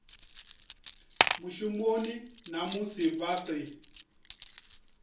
mushumoni na musi vha si